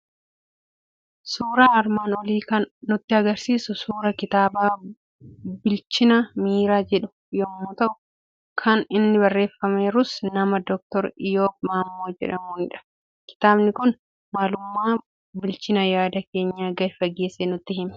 Suuraan armaan olii akan nutti agarsiisu suura kitaaba "Bilchina Miiraa" jedh yommuu ta'u, kan inni barreeffameerus nama Dr.Iyyoob Maammoo jedhamuunidha. Kitaabni kun maalummaa bilchina yaada keenyaa gadi fageessee nutti hima.